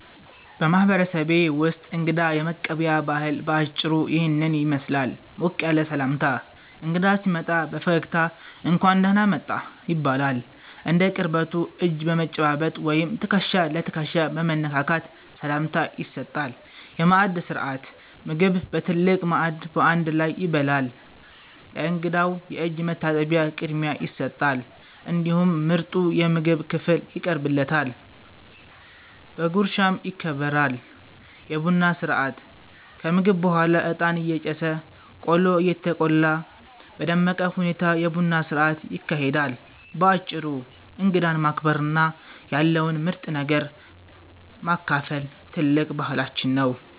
በማህበረሰቤ ውስጥ እንግዳ የመቀበያ ባህል በአጭሩ ይህንን ይመስላል፦ ሞቅ ያለ ሰላምታ፦ እንግዳ ሲመጣ በፈገግታ "እንኳን ደህና መጣህ" ይባላል። እንደ ቅርበቱ እጅ በመጨባበጥ ወይም ትከሻ ለትከሻ በመነካካት ሰላምታ ይሰጣል። የማዕድ ሥርዓት፦ ምግብ በትልቅ ማዕድ በአንድ ላይ ይበላል። ለእንግዳው የእጅ መታጠቢያ ቅድሚያ ይሰጣል፤ እንዲሁም ምርጡ የምግብ ክፍል ይቀርብለታል፣ በጉርሻም ይከበራል። የቡና ሥርዓት፦ ከምግብ በኋላ እጣን እየጨሰ፣ ቆሎ እየተቆላ በደመቀ ሁኔታ የቡና ሥርዓት ይካሄዳል። ባጭሩ እንግዳን ማክበርና ያለውን ምርጥ ነገር ማካፈል ትልቅ ባህላችን ነው።